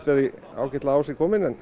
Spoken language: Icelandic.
ágætlega á sig komin en